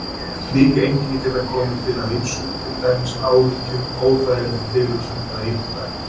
Slík einkenni geta komið til af ýmsu, til dæmis áhyggjum, óþægilegri tilhugsun eða íþróttaæfingum.